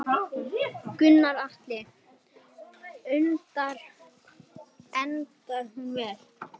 Gunnar Atli: Endar hún vel?